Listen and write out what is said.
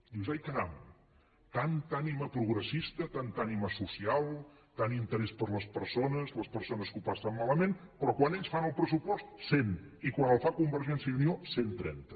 dius ai caram tanta ànima progressista tanta ànima social tant interès per les persones les persones que ho passen malament però quan ells fan el pressupost cent i quan el fa convergència i unió cent i trenta